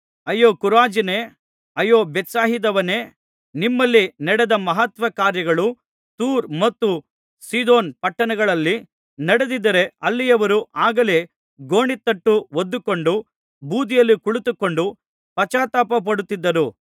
ಅಯ್ಯೋ ಖೊರಾಜಿನೇ ಅಯ್ಯೋ ಬೇತ್ಸಾಯಿದವೇ ನಿಮ್ಮಲ್ಲಿ ನಡೆದ ಮಹತ್ಕಾರ್ಯಗಳು ತೂರ್ ಮತ್ತು ಸೀದೋನ್ ಪಟ್ಟಣಗಳಲ್ಲಿ ನಡೆದಿದ್ದರೆ ಅಲ್ಲಿಯವರು ಆಗಲೇ ಗೋಣಿತಟ್ಟು ಹೊದ್ದುಕೊಂಡು ಬೂದಿಯಲ್ಲಿ ಕುಳಿತುಕೊಂಡು ಪಶ್ಚಾತ್ತಾಪಪಡುತ್ತಿದ್ದರು